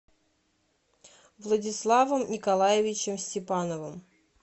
владиславом николаевичем степановым